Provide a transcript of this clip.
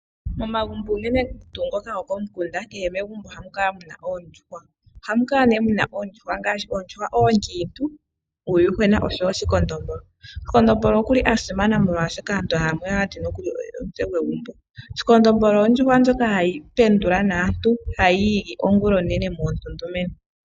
Momagumbo unene tuu ngoka gokomukunda kehe megumbo ohamu kala mu na oondjuhwa ngaashi ndhoka oonkitu, uuyuhwena noshowo shikondombolo. Shindombolo okuli simana molwashoka aantu yamwe ohaati nokuli oye omutse gwegumbo, shikondombolo ondjuhwa ndjoka hayi pendula naantu ha yiigi ongulonene lela.